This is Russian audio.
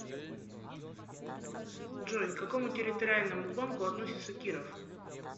джой к какому территориальному банку относится киров